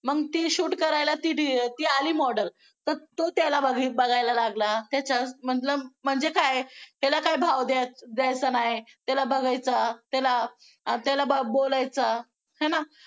मग ती shoot करायला ती आली model तर तो त्याला बघायला लागला त्याच्यामधलं म्हणजे काय त्याला काय भाव द्यायचा नाही त्याला बघायचं त्याला अं त्याला बोलायचं आहे ना